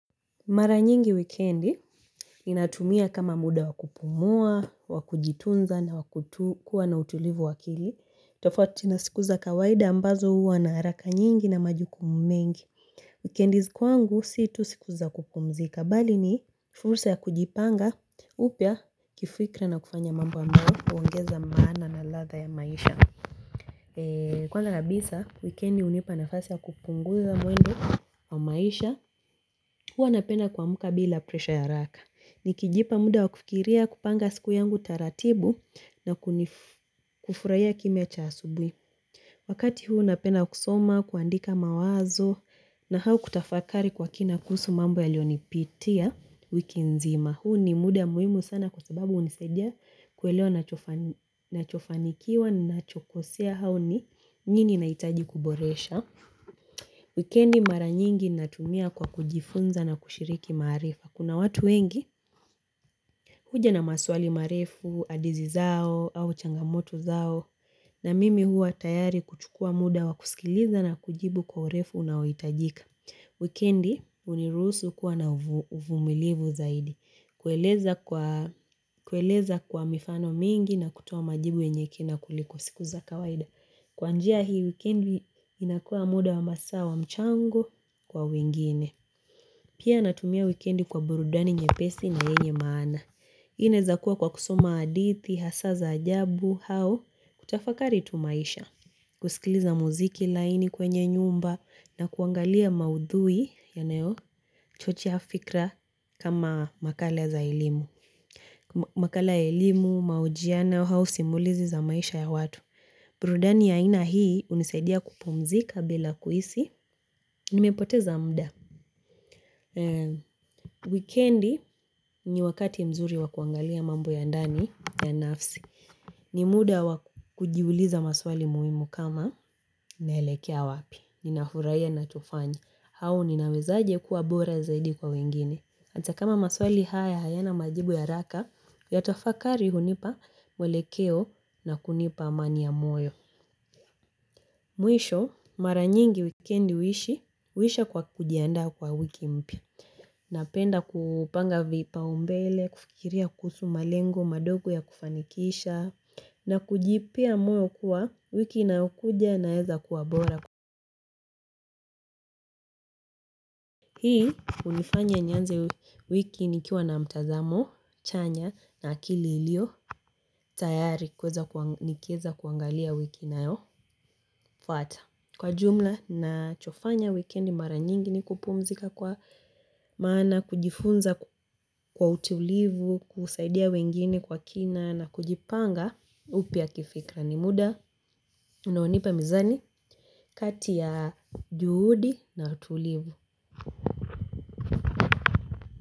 Mara nyingi wikendi. Ninatumia kama muda wakupumua, wakujitunza na kuwa nautulivu wakili. Tofauti na siku za kawaida ambazo huwa na haraka nyingi na majukumu mengi. Wikendi kwangu si tu siku za kupumzika, bali ni fursa ya kujipanga, upya kifikra na kufanya mambo ambayo uongeza maana na ladha ya maisha. Kwa kabisa, wikendi unipa nafasi ya kupunguza mwendo wa maisha. Huwa napena kuamka bila presha ya haraka. Nikijipa muda wa kufikiria kupanga siku yangu taratibu na kufurahia kimya cha asubui. Wakati huu napenda kusoma, kuandika mawazo na au kutafakari kwa kina kuhusu mambo yaliyo nipitia, wiki nzima. Huu ni muda muhimu sana kwa sababu unisaidia kuelewa nachofanikiwa ninachokosea au ni nini naitaji kuboresha. Wikendi mara nyingi natumia kwa kujifunza na kushiriki maarifa. Kuna watu wengi. Huja na maswali marefu, hadithi zao au changamoto zao. Na mimi huwa tayari kuchukua muda wa kusikiliza na kujibu kwa urefu unaoitajika. Wikendi uniruhusu kuwa na uvumilivu zaidi. Kueleza kwa mifano mingi na kutoa majibu yenye kina kuliko siku za kawaida. Kwa njia hii wikendi inakua muda wa masaa wa mchango kwa wingine. Pia natumia wikendi kwa burudani nyepesi na yenye maana. Inaeza kuwa kwa kusoma hadithi, hasa za ajabu, au kutafakari tu maisha. Kusikiliza muziki laini kwenye nyumba na kuangalia maudhui, yanayo chochea fikra, kama makala za ilimu. Makala ya elimu, maojiano, au simulizi za maisha ya watu. Burudani ya aina hii, unisaidia kupumzika bila kuhisi nimepoteza muda. Wikendi ni wakati mzuri wakuangalia mambo ya ndani ya nafsi. Ni muda wakujiuliza maswali muhimu kama, naelekea wapi. Ninafurahia ninachonya au ninawezaaje kuwa bora zaidi kwa wengine. Ata kama maswali haya hayana majibu ya haraka yatafakari hunipa mwelekeo na kunipa amani ya moyo. Mwisho, mara nyingi wikendi uhishi, uhisha kwa kujianda kwa wiki mpya. Napenda kupanga vipao mbele, kufikiria kuhusu malengo, madogo ya kufanikisha, na kujipea moyo kuwa, wiki inayokuja inaweza kuwa bora. Hii, unifanyanianze wiki nikiwa na mtazamo, chanya, na akili iliyo tayari. Nikiweza kuangalia wiki inayofuata. Kwa jumla ninachofanya wikendi mara nyingi ni kupumzika kwa maana kujifunza kwa utulivu, kusaidia wengine kwa kina na kujipanga upya kifikra ni muda. Unaonipa mizani, kati ya juhudi na utulivu.